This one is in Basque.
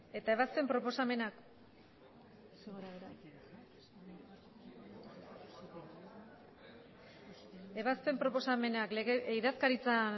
eta ebazpen proposamenak ebazpen proposamenak idazkaritza